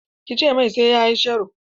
Ki ce mai sai ya yi sharo!